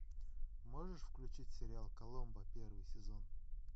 можешь включить сериал коломбо первый сезон